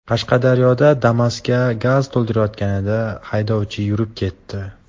Qashqadaryoda Damas’ga gaz to‘ldirilayotganida haydovchi yurib ketdi.